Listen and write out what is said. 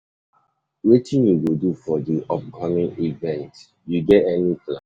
Wetin you go do for di upcoming event, you get any plan?